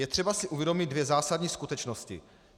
Je třeba si uvědomit dvě zásadní skutečnosti.